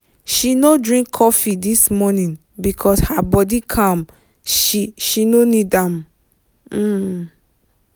she no drink coffee this morning because her body calm she she no need am um